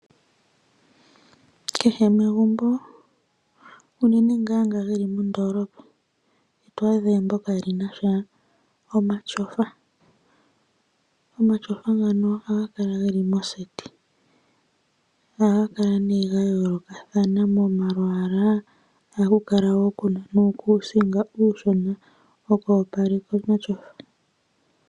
Kehe megumbo unene ngoka geli moodoolopa ito adha mo egumbo kaali na omatyofa. Omatyofa ohaga kala geli koseti. Ohaga kala gayoolokathana momalwaala, ohaku kala woo kuna nuukuusinga uushona woku opaleka omatyofa.